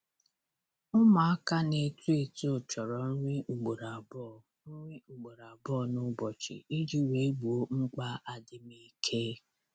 Ụmụaka na-eto eto chọrọ nri ugboro abụọ nri ugboro abụọ n'ụbọchị iji wee gboo mkpa adịm ike.